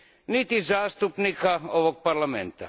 niti zastupnika ovog Parlamenta.